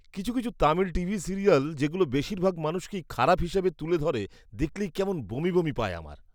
কিছু কিছু Tamil TV serial যেগুলো বেশিরভাগ মানুষকেই খারাপ হিসাবে তুলে ধরে, দেখলেই কেমন বমি বমি পায় আমার।